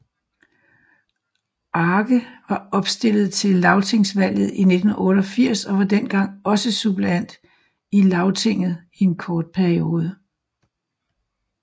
Arge var opstillet til lagtingsvalget 1988 og var dengang også suppleant i lagtinget i en kort periode